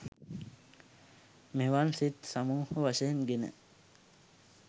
මෙවන් සිත් සමූහ වශයෙන් ගෙන